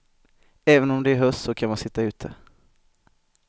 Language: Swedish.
Även om det är höst så kan man sitta ute.